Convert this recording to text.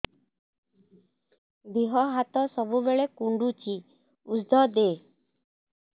ଦିହ ହାତ ସବୁବେଳେ କୁଣ୍ଡୁଚି ଉଷ୍ଧ ଦେ